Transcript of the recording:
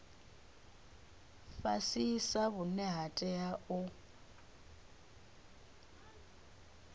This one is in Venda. fhasisa vhune ha tea u